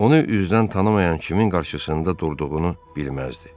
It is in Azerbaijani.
Onu üzdən tanımayan kimin qarşısında durduğunu bilməzdi.